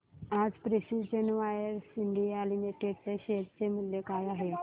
आज precision wires India limited च्या share चे मूल्य काय आहे